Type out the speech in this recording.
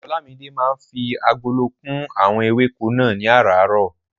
Olamide máa ń fi agolo kún àwọn ewéko náà ní aràárọ̀.